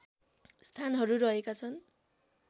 स्थानहरू रहेका छ्न्